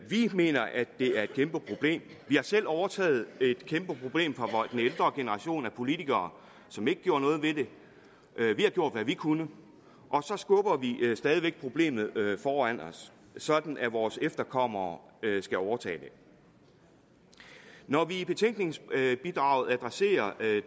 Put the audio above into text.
vi mener at det er et kæmpe problem vi har selv overtaget et kæmpe problem fra den ældre generation af politikere som ikke gjorde noget ved det vi har gjort hvad vi kunne og så skubber vi stadig væk problemet foran os sådan at vores efterkommere skal overtage det når vi i betænkningsbidraget adresserer